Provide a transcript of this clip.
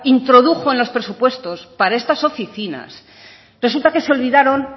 introdujo en los presupuestos para estas oficinas resulta que se olvidaron